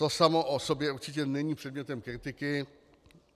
To samo o sobě určitě není předmětem kritiky.